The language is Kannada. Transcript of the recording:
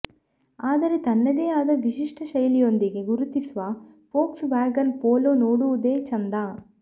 ಆದರೆ ತನ್ನದೇ ಆದ ವಿಶಿಷ್ಟ ಶೈಲಿಯೊಂದಿಗೆ ಗುರುತಿಸುವ ಫೋಕ್ಸ್ ವ್ಯಾಗನ್ ಪೊಲೊ ನೋಡುವುದೇ ಚೆಂದ